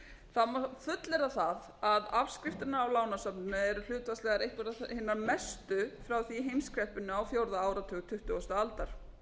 það má fullyrða það að afskriftirnar á lánasafnið eru hlutfallslegar einhverjar hinar mestu frá því í heimskreppunni á fjórða áratug tuttugustu aldar